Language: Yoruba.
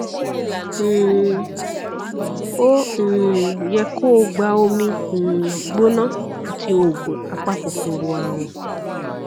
um ó um yẹ kó o gba omi um gbóná àti oògùn apakòkòrò àrùn